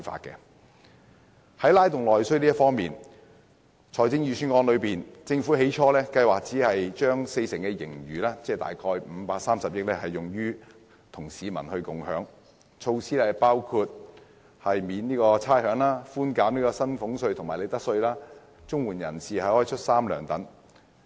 關於"拉動內需"方面，政府在公布財政預算案時，本來計劃與民共享四成盈餘，即約530億元，推出的措施包括寬免差餉、寬減薪俸稅及利得稅、綜援人士出"三糧"等。